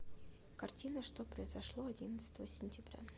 картина что произошло одиннадцатого сентября